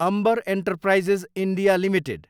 Ambar enterprises India Ltd